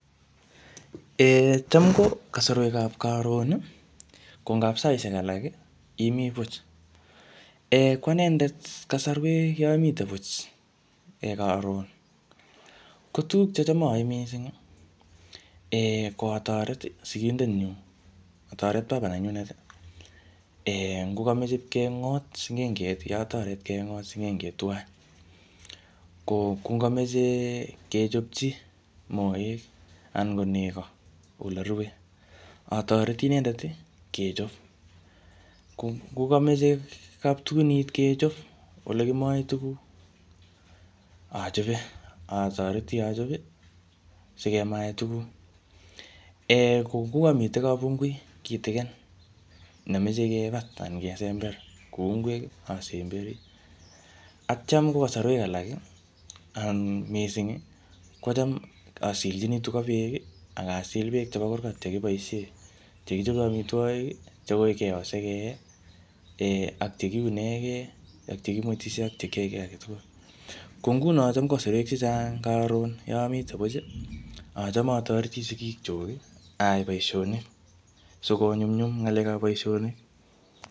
um Cham ko kasarwek ab karon, ko ngap saishek alak imii buch. um Ko anendet kasarwek yeamite buch, karon, ko tuguk checham ayae missing, ko atoret sigindet nyu, atoret baba nenyunet. Ngo kameche ipkengot sing'enget atoret kengot sing'enget tuwai. Ko ngokameche kechopchi moek anan ko nego ole rue, atoreti inendet kechop. Ngo kameche kaptugunit kechop, ole kimae tuguk, achope, atoreti achope sikemae tuguk. um Ko ngokamite kabungui kitikin nemeche kibat anan kesember kou ngwek, asemberi. Atyam ko kasarwek alak anan missing, kocham asilchini tuga beek, akasil beek chebo kurgat che kiboisie, che kichope amitwogik, chekoi keyoo sikee, um ak chekiunege, ak chekimwetishe ak chekiaye kiy age tugul. Ko nguno chom kasarwek chechang karon yeamite buch, achame atoreti sigik chuk, aai boisonik. Sikonyumnyum ngalek ap boisonik.